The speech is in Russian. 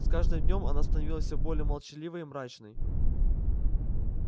с каждым днём она становилась все более молчаливой и мрачной